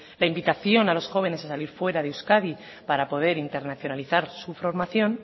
la invitación a los jóvenes a salir fuera de euskadi para poder internacionalizar su formación